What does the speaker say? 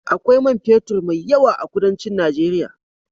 Akwai man fetur mai yawa a kudancin Nageria.